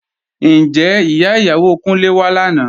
Ǹjẹ́ ìyá ìyàwó Kúnlé wá lánàá?